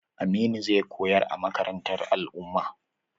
Aminu zai koyar a makarantar al'umma.